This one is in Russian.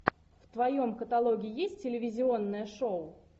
в твоем каталоге есть телевизионное шоу